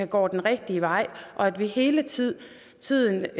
går den rigtige vej og at vi hele tiden tiden